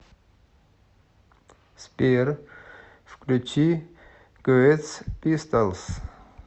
сбер включи квест пистолс